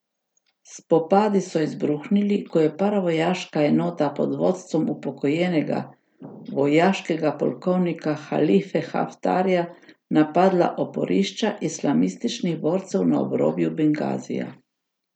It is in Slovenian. Spopadi so izbruhnili, ko je paravojaška enota pod vodstvom upokojenega vojaškega polkovnika Halife Haftarja napadla oporišča islamističnih borcev na obrobju Bengazija.